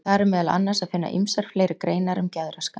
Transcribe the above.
Þar er meðal annars að finna ýmsar fleiri greinar um geðraskanir.